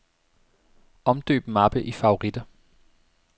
Omdøb mappe i favoritter.